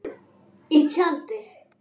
Í tjaldi.